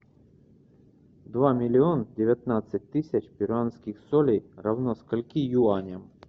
два миллиона девятнадцать тысяч перуанских солей равно скольки юаням